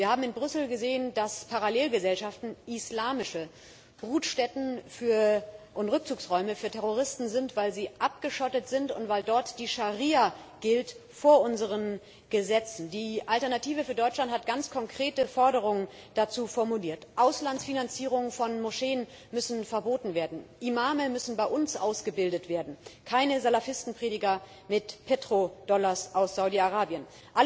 Wir haben in Brüssel gesehen, dass Parallelgesellschaften islamische Brutstätten und Rückzugsräume für Terroristen sind, weil sie abgeschottet sind und weil dort vor unseren Gesetzen die Scharia gilt. Die Alternative für Deutschland hat ganz konkrete Forderungen dazu formuliert Auslandsfinanzierungen von Moscheen müssen verboten werden, Imame müssen bei uns ausgebildet werden keine Salafistenprediger mit Petrodollars aus Saudi Arabien!